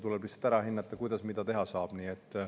Tuleb lihtsalt ära hinnata, kuidas mida teha saab.